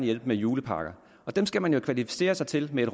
hjælpe med julepakker dem skal man jo kvalificere sig til ved at